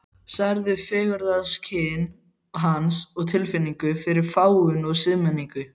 Særðu fegurðarskyn hans og tilfinningu fyrir fágun og siðmenningu.